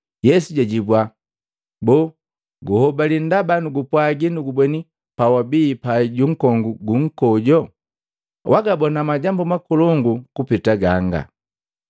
Yesu jajibua, “Boo guhobali ndaba nugupwaji nugubweni pawabii pai junkongu gu nkoju? Wagabona majambu makolongu kupeta ganga.”